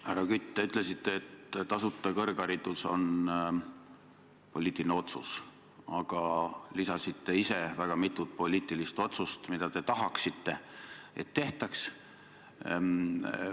Härra Kütt, te ütlesite, et tasuta kõrgharidus on poliitiline otsus, ja pakkusite ise välja mitu poliitilist otsust, mis teie arvates tuleks teha.